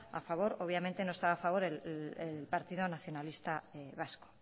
a favor obviamente no estaba a favor el partido nacionalista vasco